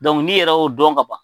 n'i yɛrɛ y'o dɔn kaban